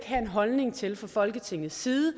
have en holdning til fra folketingets side